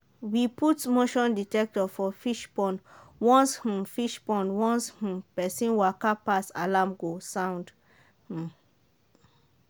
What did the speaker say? we put motion dectector for fishpond once um fishpond once um person waka pass alarm go sound. um